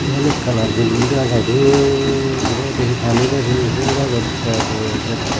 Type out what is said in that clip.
iyen ekkan ar building dega jai dol guri edey he pani der hijeni fhul gajot ter dettey.